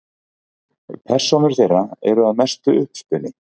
Persónur þeirra eru að mestu uppspuni.